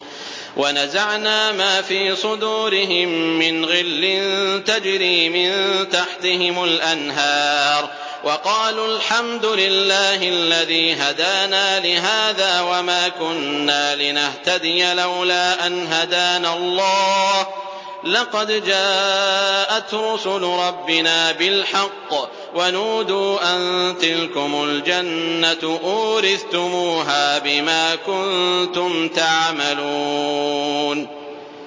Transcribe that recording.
وَنَزَعْنَا مَا فِي صُدُورِهِم مِّنْ غِلٍّ تَجْرِي مِن تَحْتِهِمُ الْأَنْهَارُ ۖ وَقَالُوا الْحَمْدُ لِلَّهِ الَّذِي هَدَانَا لِهَٰذَا وَمَا كُنَّا لِنَهْتَدِيَ لَوْلَا أَنْ هَدَانَا اللَّهُ ۖ لَقَدْ جَاءَتْ رُسُلُ رَبِّنَا بِالْحَقِّ ۖ وَنُودُوا أَن تِلْكُمُ الْجَنَّةُ أُورِثْتُمُوهَا بِمَا كُنتُمْ تَعْمَلُونَ